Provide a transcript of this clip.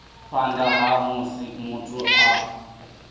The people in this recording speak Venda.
phanḓa ha musi muthu a